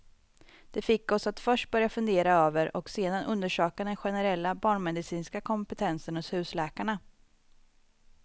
Det fick oss att först börja fundera över och sedan undersöka den generella barnmedicinska kompetensen hos husläkarna.